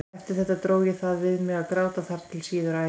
Eftir þetta dró ég það við mig að gráta þar til síðar á ævinni.